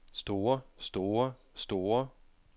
store store store